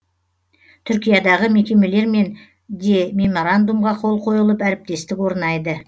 түркиядағы мекемелермен де меморандумға қол қойылып әріптестік орнайды